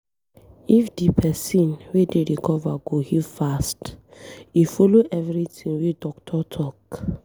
If di pesin wey dey recover go heal fast, e follow everything wey doctor talk.